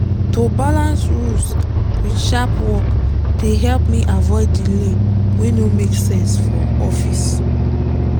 to balance rules with sharp work dey help me avoid delay wey no make sense for office.